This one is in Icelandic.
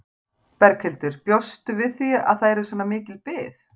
Berghildur: Bjóstu við því að það yrði svona mikil bið?